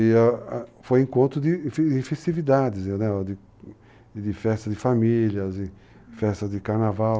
E foi encontro de festividades, de festas de famílias, festas de carnaval.